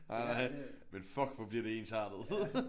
Nej nej men fuck hvor bliver det ensartet